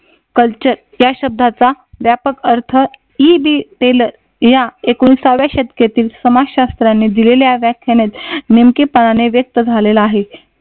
Culture या शब्दाचा व्यापक अर्थ edit टेलर या एकोणीसाव्या शतकातील समाज शास्त्राने दिलेल्या व्याख्यानात नेमकेपणाने व्यक्त झालेला आहे.